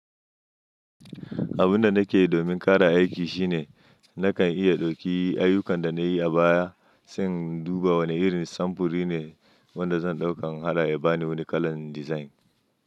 Abun da nake domin ƙara aiki shine nakan iya ɗauki ayyukan da na yi a baya, sAn duba wane irin samfuri ne wanda zan ɗauka don haɗa ya bani wani kalan dizain.